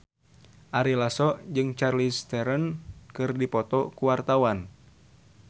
Ari Lasso jeung Charlize Theron keur dipoto ku wartawan